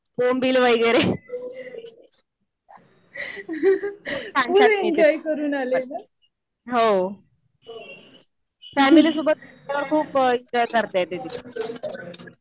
बोंबील वगैरे. खूप छान मिळतं. हो. फॅमिली सोबत गेल्यावर खूप एन्जॉय करता येते तिथे.